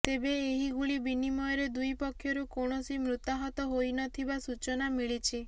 ତେବେ ଏହି ଗୁଳି ବିନିମୟରେ ଦୁଇ ପକ୍ଷରୁ କୌଣସି ମୃତାହତ ହୋଇନଥିବା ସୂଚନା ମିଳିଛି